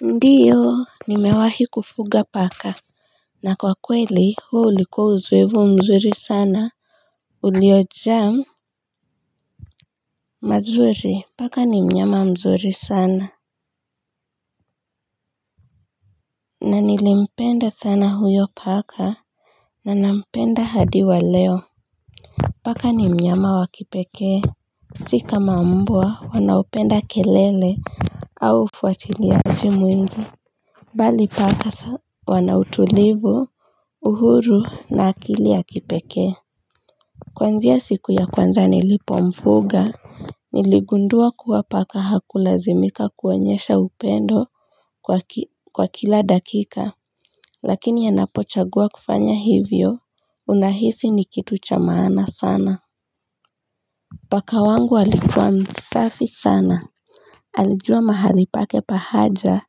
Ndiyo nimewahi kufuga paka na kwa kweli huu ulikuwa uzoefu mzuri sana uliojaa mazuri paka ni mnyama mzuri sana na nilimpenda sana huyo paka na nampenda hadi wa leo paka ni mnyama wa kipekee si kama mbwa wanaopenda kelele au ufuatiliaji mwingi bali paka wana utulivu uhuru na akili ya kipekee kuanzia siku ya kwanza nilipomfuga. Niligundua kuwa paka hakulazimika kuonyesha upendo kwa kila dakika lakini anapochagua kufanya hivyo unahisi ni kitu cha maana sana paka wangu alikuwa msafi sana. Alijua mahali pake pa haja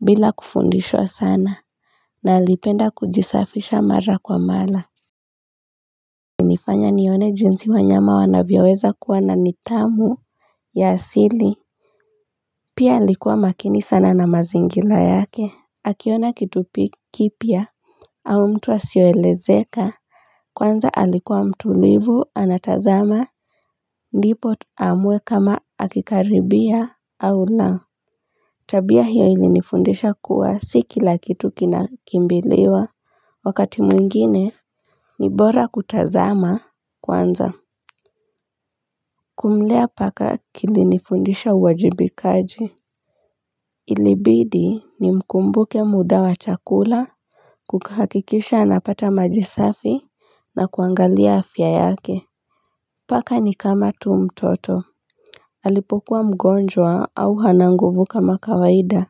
bila kufundishwa sana na alipenda kujisafisha mara kwa mara alinifanya nione jinsi wanyama wanaweza kuwa na nithamu ya asili pia alikuwa makini sana na mazingira yake. Akiona kitu kipya au mtu asioelezeka. Kwanza alikuwa mtulivu anatazama. Ndipo aamue kama akikaribia au la. Tabia hiyo ilinifundisha kuwa si kila kitu kinakimbiliwa wakati mwingine ni bora kutazama kwanza. Kumlea paka kilinifundisha uwajibikaji. Ilibidi nimkumbuke muda wa chakula, kuhakikisha anapata maji safi na kuangalia afya yake. Paka ni kama tu mtoto. Alipokuwa mgonjwa au hana nguvu kama kawaida.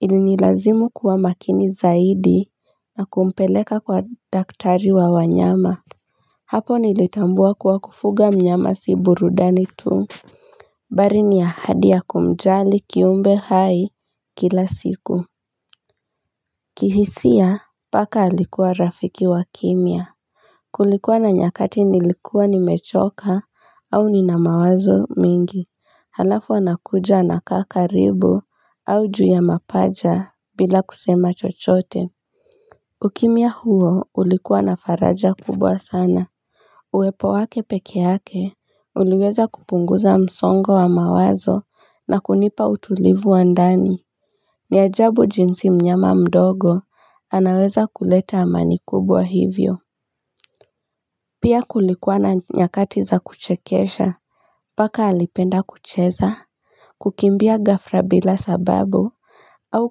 Ilinilazimu kuwa makini zaidi na kumpeleka kwa daktari wa wanyama hapo nilitambua kuwa kufuga mnyama si burudani tu bali ni ahadi ya kumjali kiumbe hai kila siku kihisia paka alikuwa rafiki wa kimya kulikuwa na nyakati nilikuwa nimechoka au nina mawazo mengi alafu anakuja anakaa karibu au juu ya mapaja bila kusema chochote. Ukimya huo ulikuwa na faraja kubwa sana. Uwepo wake peke yake uliweza kupunguza msongo wa mawazo na kunipa utulivu wa ndani ni ajabu jinsi mnyama mdogo anaweza kuleta amani kubwa hivyo. Pia kulikuwa na nyakati za kuchekesha paka alipenda kucheza. Kukimbia ghafla bila sababu au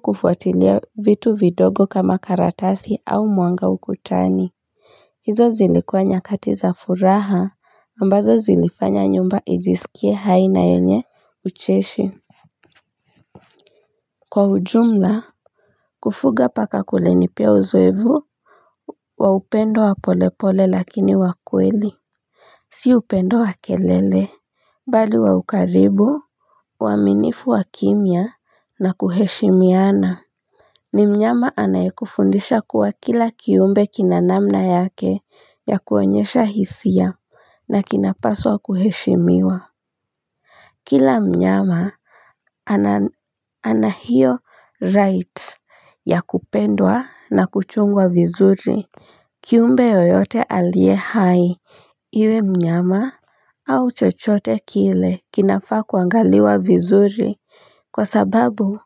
kufuatilia vitu vidogo kama karatasi au mwanga ukutani hizo zilikuwa nyakati za furaha ambazo zilifanya nyumba ijisikie hai na nyepesi kwa ujumla kufuga paka kulinipea uzoefu wa upendo wa polepole lakini wa kweli si upendo wa kelele, bali wa ukaribu, uaminifu wa kimya na kuheshimiana ni mnyama anayekufundisha kuwa kila kiumbe kina namna yake ya kuonyesha hisia na kinapaswa kuheshimiwa. Kila mnyama ana hiyo right ya kupendwa na kuchungwa vizuri. Kiumbe yoyote aliye hai. Iwe mnyama au chochote kile kinafaa kuangaliwa vizuri kwa sababu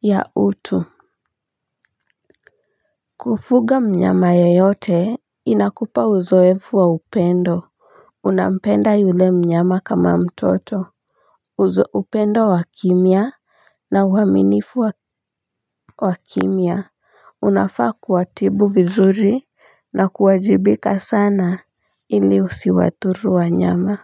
ya utu. Kufuga mnyama yeyote inakupa uzoefu wa upendo. Unampenda yule mnyama kama mtoto upendo wa kimya na uaminifu wa kimya unafaa kuwatibu vizuri na kuwajibika sana ili usiwadhuru wanyama.